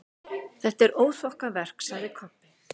Þetta er óþokkaverk, sagði Kobbi.